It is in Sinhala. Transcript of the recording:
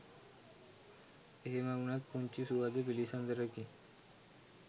එහෙම උනත් පුංචි සුහද පිලිසදරකින්